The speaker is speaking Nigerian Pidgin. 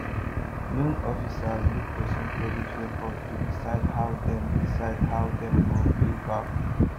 loan officer look person credit record to decide how dem decide how dem go pay back